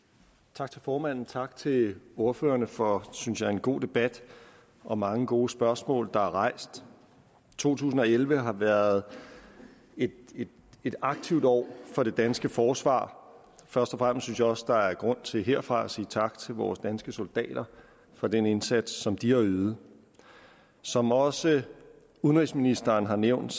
tak til formanden tak til ordførerne for synes jeg en god debat og mange gode spørgsmål der er blevet rejst to tusind og elleve har været et aktivt år for det danske forsvar først og synes jeg også der er grund til herfra at sige tak til vores danske soldater for den indsats som de har ydet som også udenrigsministeren har nævnt